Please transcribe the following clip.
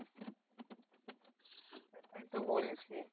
সেটাই তো বলছি।